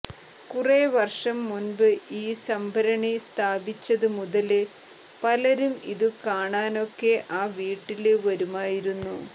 കുറേ വര്ഷം മുന്പ് ഈ സംഭരണി സ്ഥാപിച്ചതുമുതല് പലരും ഇതു കാണാനൊക്കെ ആ വീട്ടില് വരുമായിരുന്നു